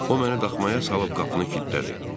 O mənə daxmaya salıb qapını kiltlədi.